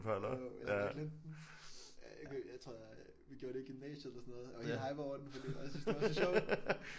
Jo jeg har bare glemt den. Øh jeg tror vi gjorde det i gymnasiet eller sådan noget og vi hypede over den fordi vi bare syntes det var så sjovt